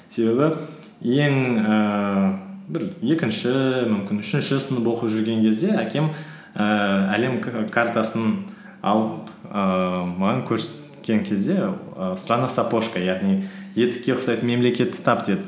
себебі ең ііі бір екінші мүмкін үшінші сынып оқып жүрген кезде әкем ііі әлем картасын алып ііі маған көрсеткен кезде і страна сапожка яғни етікке ұқсайтын мемлекетті тап деді